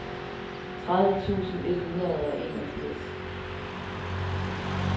tredive tusind et hundrede og enogfirs